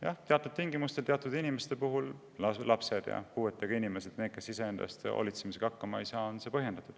Jah, teatud tingimustel on see teatud inimeste puhul põhjendatud: lapsed ja puuetega inimesed, need, kes iseenda eest hoolitsemisega hakkama ei saa.